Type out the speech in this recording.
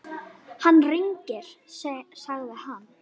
Hann rignir, sagði hann.